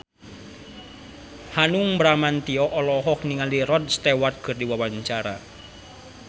Hanung Bramantyo olohok ningali Rod Stewart keur diwawancara